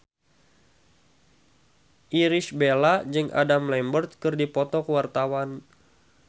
Irish Bella jeung Adam Lambert keur dipoto ku wartawan